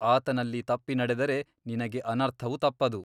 ಆತನಲ್ಲಿ ತಪ್ಪಿ ನಡೆದರೆ ನಿನಗೆ ಅನರ್ಥವು ತಪ್ಪದು.